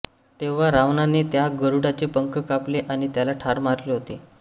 तेव्हा रावणाने त्या गरुडाचे पंख कापले आणि त्याला ठार मारले होते